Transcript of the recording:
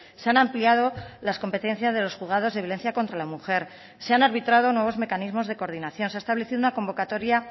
se han ampliado las competencias de los juzgados de violencia contra la mujer se han arbitrado nuevos mecanismos de coordinación se ha establecido una convocatoria